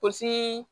Pɔsi